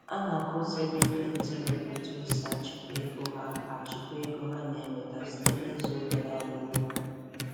Ọ na-akụziri ndị ntorobịa otu esi achịkwa ego ha achịkwa ego ha na-enweta site n’ịzụ obere anụ ụlọ.